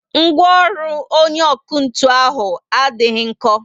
Ngwaọrụ onye ọkụ ntụ ahụ adịghị nko